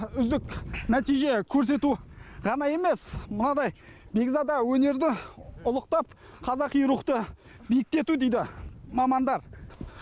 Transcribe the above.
үздік нәтиже көрсету ғана емес мынадай бекзада өнерді ұлықтап қазақи рухты биіктету дейді мамандар